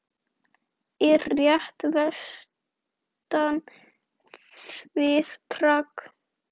Er rétt vestan við Prag.